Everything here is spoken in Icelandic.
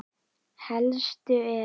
Helstu eru